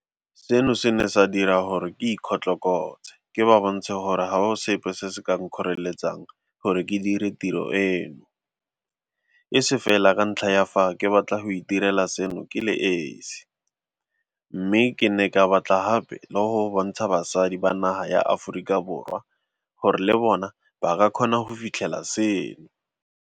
Seno se ne sa dira gore ke ikgotlokotse ke ba bontshe gore ga go sepe se se ka nkgoreletsang gore ke dire tiro eno, e se fela ka ntlha ya fa ke batla go itirela seno ke le esi, mme ke ne ke batla gape le go bontsha basadi ba naga ya Aforika Borwa gore le bona ba ka kgona go fitlhelela seno.